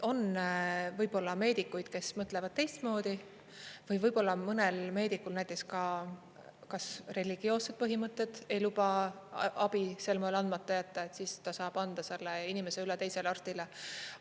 On võib-olla meedikuid, kes mõtlevad teistmoodi, või võib-olla on mõnel meedikul näiteks ka kas religioossed põhimõtted ei luba abi sel moel andmata jätta, siis ta saab anda selle inimese üle teisele arstile.